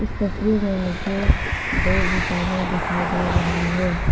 इस तस्वीर में मुझे दो इंसाने दिखाई दे रही है।